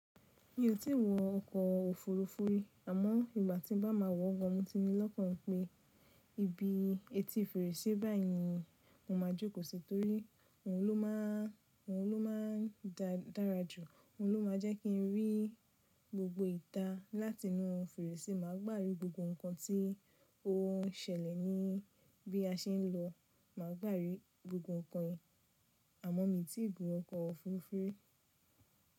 Mi ò tí ì wọ ọkọ̀ òfurufú ri, àmọ́ ìgbà tí n bá máa wọ̀ gan, mo ti ní lọ́kàn ipé ibi etí fèrèse báyìí ni mo máa jókòó sí torí òun ló má a n, òun ló má a n dára jù, òun ló má a jẹ́ kí n rí gbogbo ìta láti inú fèrèse. Mà á gbágbe gbogbo nǹkan tí ó n sẹlẹ̀ níbí a ṣe ń lọ. Mà á gbárí gbogbo nǹkan yen, àmọ́ mi ò tí ì gun ọkọ̀ òfurufú.